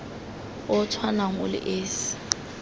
o tshwanang o le esi